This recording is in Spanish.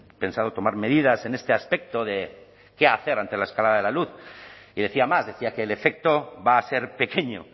pensado tomar medidas en este aspecto de qué hacer ante la escalada de la luz y decía más decía que el efecto va a ser pequeño